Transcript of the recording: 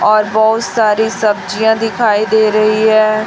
और बहोत सारी सब्जियां दिखाई दे रही है।